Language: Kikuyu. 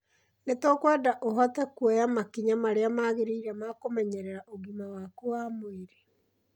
Nĩ tũkwenda ũhote kuoya makinya marĩa magĩrĩire ma kũmenyerera ũgima waku wa mwĩrĩ.